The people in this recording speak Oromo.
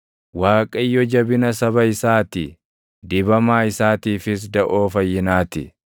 Waaqayyo jabina saba isaa ti; dibamaa isaatiifis daʼoo fayyinaa ti.